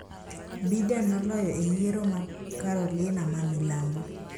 Biden noloyo e yiero ma Carolina ma milambo